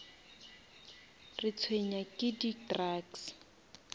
retshwenya ke di drugs